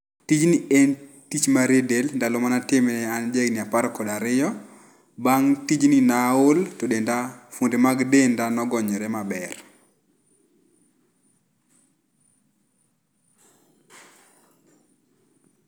Tijni en tich mar rie del, ndalo mane atime an jahigni apar kod ariyo. Bang tijni ne aol to denda, fuonde mag denda nogonyore maber